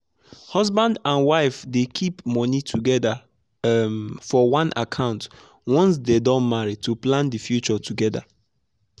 husband and wife dey keep money together um for one account once dey don marry to plan their future together.